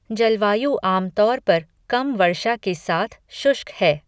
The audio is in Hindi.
जलवायु आम तौर पर कम वर्षा के साथ शुष्क है।